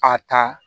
A ta